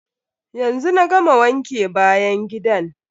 Yanzu na gama wanke bayan gidan.